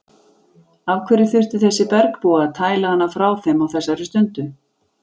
Af hverju þurfti þessi bergbúi að tæla hana frá þeim á þessari stundu?